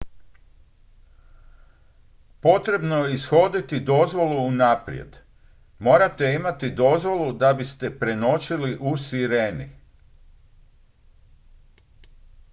potrebno je ishoditi dozvolu unaprijed morate imati dozvolu da biste prenoćili u sireni